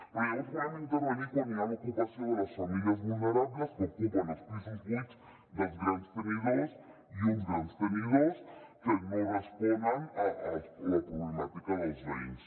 però llavors volem intervenir quan hi ha l’ocupació de les famílies vulnerables que ocupen els pisos buits dels grans tenidors i uns grans tenidors que no responen a la problemàtica dels veïns